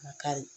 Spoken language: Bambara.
Kari